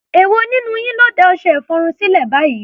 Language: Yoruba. Èwo nínú yín ló da ọṣẹ-ìfọrun sílẹ̀ báyìí?